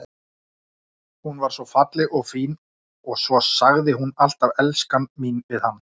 Sneplarnir að verða þéttskrifaðir.